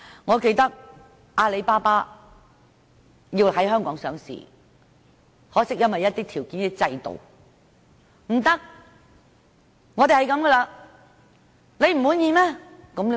我記得阿里巴巴曾希望在香港上市，可惜因為一些條件和制度不合，最終不能在港上市。